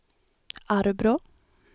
Arbrå